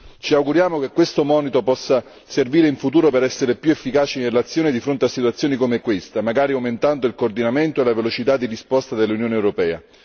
Ci auguriamo che questo monito possa servire in futuro per essere più efficaci nell'azione di fronte a situazioni come questa, magari rafforzando il coordinamento e la velocità di risposta dell'Unione europea.